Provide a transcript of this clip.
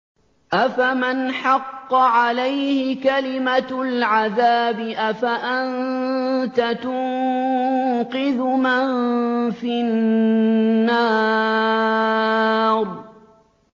أَفَمَنْ حَقَّ عَلَيْهِ كَلِمَةُ الْعَذَابِ أَفَأَنتَ تُنقِذُ مَن فِي النَّارِ